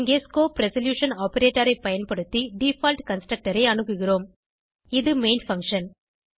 இங்கே scope resolution operator ஐ பயன்படுத்தி டிஃபால்ட் கன்ஸ்ட்ரக்டர் ஐ அணுகுகிறோம் இது மெயின் பங்ஷன்